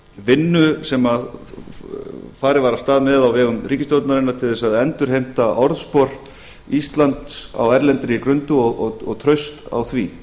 vinnu sem farið var af stað með á vegum ríkisstjórnarinnar til þess að endurheimta orðspor íslands á erlendri grundu og traust á því